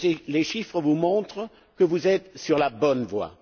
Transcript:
Les chiffres vous montrent que vous êtes sur la bonne voie.